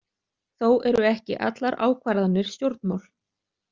Þó eru ekki allar ákvarðanir stjórnmál.